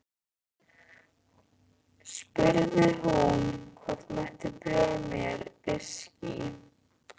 Spurði hvort hún mætti bjóða mér viskí.